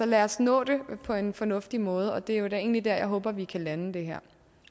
lad os nå det på en fornuftig måde og det er jo da egentlig der jeg håber vi kan lande det